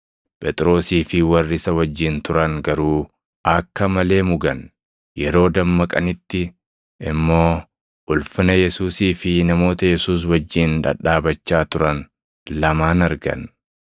Phexrosii fi warri isa wajjin turan garuu akka malee mugan; yeroo dammaqanitti immoo ulfina Yesuusii fi namoota Yesuus wajjin dhadhaabachaa turan lamaan argan.